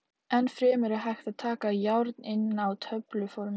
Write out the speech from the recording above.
Enn fremur er hægt að taka járn inn á töfluformi.